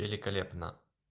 великолепно